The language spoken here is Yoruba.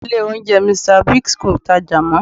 Ilé oúnjẹ Mr. Biggs kò tajà mọ́